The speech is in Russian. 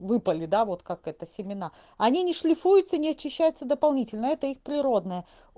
выпали да вот как это семена они не шлифуются не очищается дополнительно это их природное